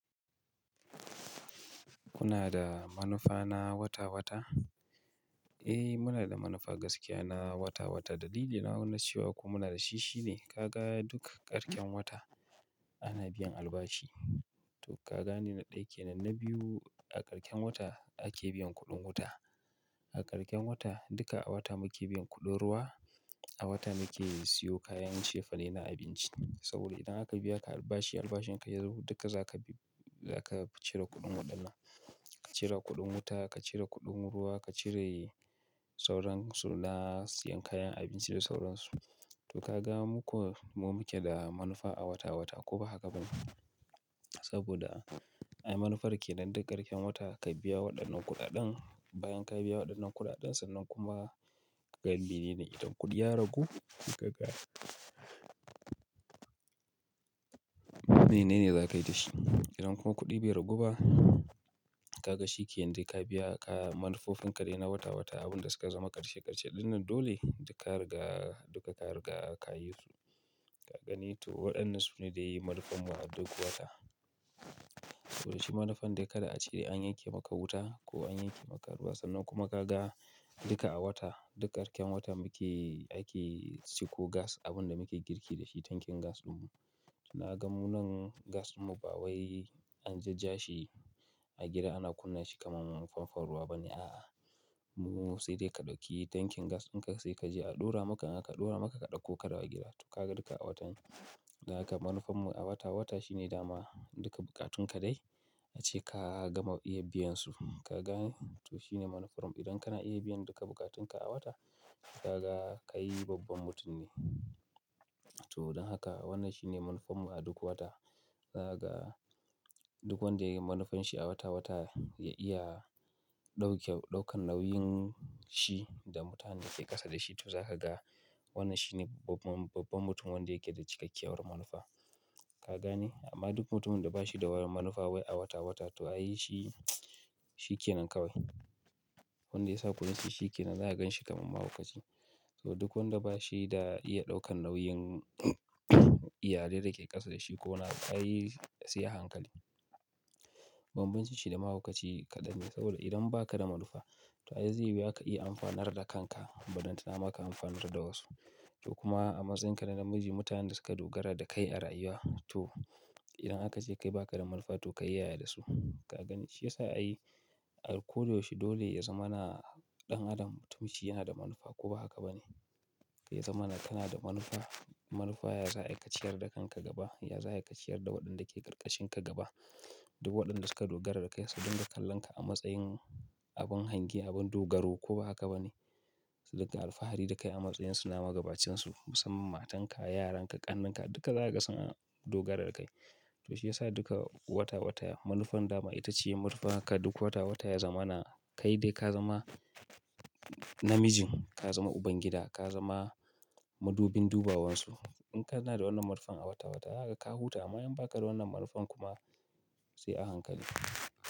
Kuna da manufa na wata-wata? Eh, muna da manufa gaskiya na wata-wata. Dalilin nawa na cewa ko muna da shi shine ka ga duk karshen wata ana biyan albashi. To ka gane na ɗaya kenan, na biyu a karshen wata ake biyan kuɗin wuta. A karshen wata duka a wata muke biyan kuɗin ruwa, a wata muke siyo kayan cefane na abinci. Saboda idan aka biya ka albashi, albashin ka ya zo duka zaka bi zaka cire kuɗin waɗannan. Ka cire kuɗin wuta, ka cire kuɗin ruwa, ka cire sauransu na siyan kayan abinci da sauransu. To ka ga muke da manufa a wata-wata ko ba haka ba ne? Saboda ai manufar ke nan duk karshen wata ka biya waɗannan kuɗaɗen, bayan ka biya waɗannan kuɗaɗen sannan kuma galibi ne idan kuɗi ya ragu, ka ga menene za ka yi da shi. Idan kuma kuɗi bai ragu ba, ka ga shi ke nan dai ka biya manufofin ka dai na wata-wata. Abin da suka zama karshe-karshe ɗin nan dole duka ka riga, duka ka riga ka yi su. Ka gani to waɗannan su ne dai manufar mu a duk wata. To dai shi manufan dai kada ace, an yanke maka wuta ko an yanke maka ruwa sannan kuma ka ga duka a wata, duk karshen wata muke ake ciko gas abin da muke girki da shi, tankin gas ɗin mu. Na ga munan gas ɗin mu ba wai an jajjashi a gida ana kunna shi kamar famfon ruwa ba ne a'a. Mu sai dai ka ɗauki tankin gas in ka je sai ka je a ɗura maka in aka, ɗura maka ka ɗauko ka dawo gida. To ka ga duka a watan don haka manufar mu a wata-wata shine dama duka bukatun ka dai ace ka gama iya biyan su. Ka gane? To shine manufar mu. Idan kana iya biyan duka bukatun ka a wata, ka ga kai babban mutum ne. To don haka wannan shine manufar mu a duk wata. Ka ga duk wanda ya yi manufar shi a wata-wata ya iya ɗauke, ɗaukan nauyin shi da mutanen da ke ƙasa da shi. To za ka ga wannan shine babban, babban mutum wanda yake da cikakkiyar manufa. Ka gane? Amma duk mutumin da ba shi da wani manufa wai a wata-wata to ai shi, shi kenan kawai. Wanda ya sa kunne shi shi kenan zaka ganshi kamar mahaukaci. To duk wanda ba shi da iya ɗaukan nauyin iyalai da ke ƙasa da shi ko na kai sai a hankali. Banbanci shi da mahaukaci kaɗan ne saboda idan ba ka da manufa, to ai zai yi wuya ka iya amfanar da kanka balantana ma ka amfanar da wasu. To kuma a matsayin ka na namiji, mutanen da suka dogara da kai a rayuwa to idan aka ce kai ba ka da manufa to kayi yaya da su. Ka gani? Shi yasa ai a koda yaushe dole ya zama na ɗan adam mutunci yana da manufa ko ba haka ba ne. Ya zama na kana da manufa, manufa ya za'a yi kaciyar da kanka gaba, ya za'a yi kaciyar da waɗanda ke ƙarƙashin ka gaba. Duk waɗanda suka dogara da kai su dinga kallon ka a matsayin abin hangi, abin dogaro ko ba haka ba ne. Su riƙa alfahari da kai a matsayin su na magabacinsu musamman matan ka, yaran ka, ƙannen ka duka zaka ga sun dogara da kai. To shi ya sa duka wata-wata manufar dama ita ce manufar ka duk wata-wata ya zama na kai dai ka zama namijin, ka zama uban gida, ka zama madubin duba wan su. In kana da wannan manufar a wata-wata zaka ga ka huta amma in ba ka da wannan manufar kuma sai a hankali.